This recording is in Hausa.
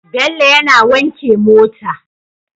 Bello yAna wanke mota